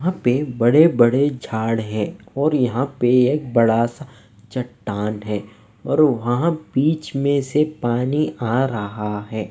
वहाँ पे बड़े-बड़े झाड़ है और यहां पे एक बड़ा सा चट्टान है और वहां बीच में से पानी आ रहा है।